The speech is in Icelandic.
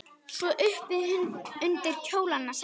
Svo upp undir kjólana sækinn!